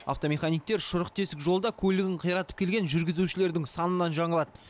автомеханиктер шұрық тесік жолда көлігін қиратып келген жүргізушілердің санынан жаңылады